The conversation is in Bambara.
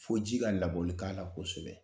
Fo ji ka labɔli k'a la kosɛbɛ